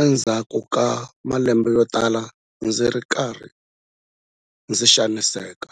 endzhaku ka malembe yotala ndzi ri karhi ndzi xaniseka.